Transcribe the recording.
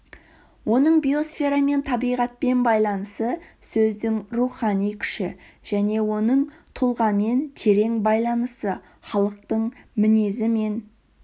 оның биосферамен табиғатпен байланысы сөздің рухани күші және оның тұлғамен терең байланысы халықтың мінезі мен